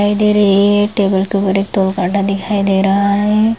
दिखाई दे रही है एक टेबल के ऊपर एक तोल काटा दिखाई दे रहा है।